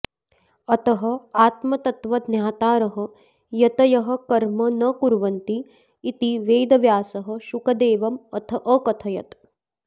अतः आत्मतत्त्वज्ञातारः यतयः कर्म न कुर्वन्ति इति वेदव्यासः शुकदेवम् अथयत्